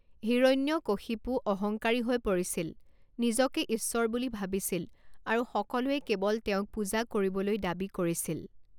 হিৰণ্যকশিপু অহঙ্কাৰী হৈ পৰিছিল, নিজকে ঈশ্বৰ বুলি ভাবিছিল আৰু সকলোৱে কেৱল তেওঁক পূজা কৰিবলৈ দাবী কৰিছিল।